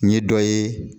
N ye dɔ ye